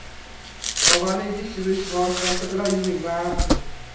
Tovani idish yuvish vositasi bilan yuving va arting.